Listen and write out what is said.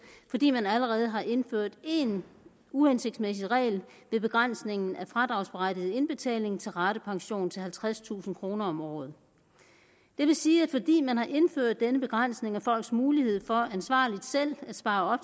fordi man allerede har indført én uhensigtsmæssig regel ved begrænsningen af fradragsberettiget indbetaling til ratepension til halvtredstusind kroner om året det vil sige at fordi man har indført denne begrænsning af folks mulighed for ansvarligt selv at spare